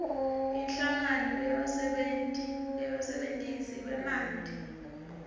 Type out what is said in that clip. inhlangano yebasebentisi bemanti